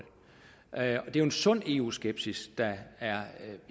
er en sund eu skepsis der er